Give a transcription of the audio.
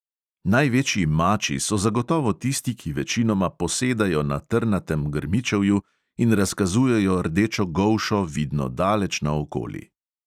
Največji mači so zagotovo tisti, ki večinoma posedajo na trnatem grmičevju in razkazujejo rdečo golšo, vidno daleč naokoli.